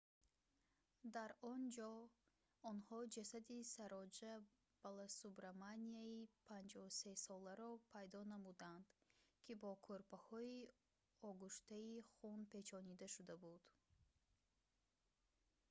дар он ҷо онҳо ҷасади сароҷа баласубраманяни 53-соларо пайдо намуданд ки бо кӯрпаҳои огӯштаи хун печонида шуда буд